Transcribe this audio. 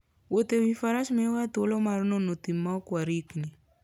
Wuoth e wi faras miyowa thuolo mar nono thim maok warikni.